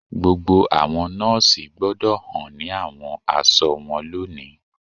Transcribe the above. Gbogbo àwọn nọọsi gbọdọ̀ hàn ni àwọn aṣọ wọn lónìí